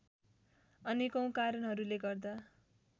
अनेकौं कारणहरूले गर्दा